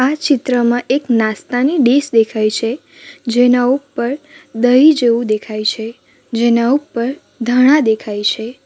આ ચિત્રમાં એક નાસ્તાની ડીશ દેખાય છે જેના ઉપર દહીં જેવું દેખાય છે જેના ઉપર ધાણા દેખાય છે.